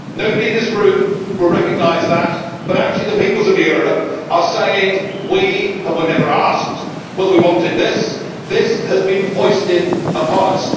Nobody in this room will recognise that, but actually the peoples of Europe are saying, We were never asked whether we wanted this this has been foisted upon us.'